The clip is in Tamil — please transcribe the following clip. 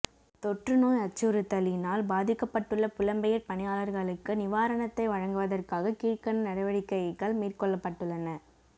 தொற்று நோய் அச்சுறுத்திலினால் பாதிக்கப்பட்டுள்ள புலம்பெயர் பணியாளர்களுக்கு நிவாரணத்தை வழங்குவதற்காக கீழ்கண்ட நடவடிக்கைகள் மேற்கொள்ளப்பட்டுள்ளன